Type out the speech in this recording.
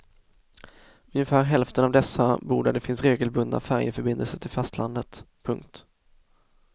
Ungefär hälften av dessa bor där det finns regelbundna färjeförbindelser till fastlandet. punkt